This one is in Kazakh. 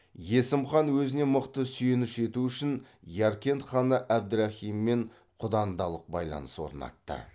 есім хан өзіне мықты сүйеніш ету үшін яркент ханы әбдірахиммен құдандалық байланыс орнатты